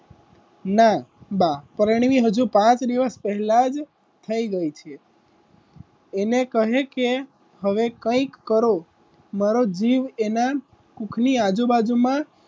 ના બા પરણી ને હજુ પાંચ દિવસ પહેલાજ થઈ ગઈ છે એને કહે કે હવે કઈક કરો મારો જીવ એના પુખની આજુબાજુમાં,